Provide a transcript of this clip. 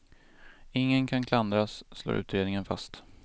Ingen kan klandras, slår utredningen fast.